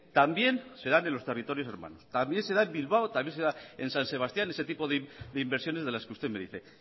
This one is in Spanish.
también se da en los territorios urbanos también se da en bilbao también se da en san sebastián ese tipo de inversiones de las que usted me dice